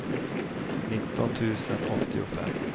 nitton tusen åttiofem